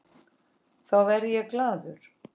Þá verð ég glaður.